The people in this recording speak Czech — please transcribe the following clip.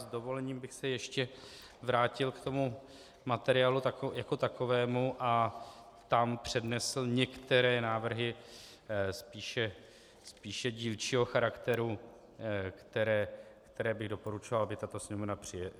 S dovolením bych se ještě vrátil k tomu materiálu jako takovému a tam přednesl některé návrhy spíše dílčího charakteru, které bych doporučoval, aby tato Sněmovna přijala.